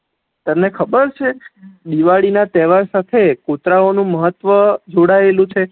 તને ખબર છે દિવાળી ના તેહવાર સાથે કુતરા ઓ નું મહત્વ જોડા એલુ છે